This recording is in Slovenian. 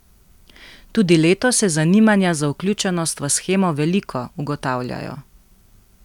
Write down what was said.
Tudi letos je zanimanja za vključenost v shemo veliko, ugotavljajo.